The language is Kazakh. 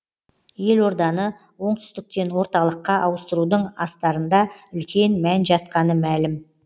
елорданы оңтүстіктен орталыққа ауыстырудың астарында үлкен мән жатқаны мәлім